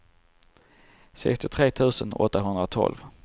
sextiotre tusen åttahundratolv